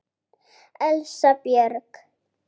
Elsa Björg.